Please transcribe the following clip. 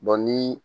ni